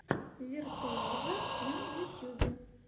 виртуозо на ютьюбе